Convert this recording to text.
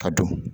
A don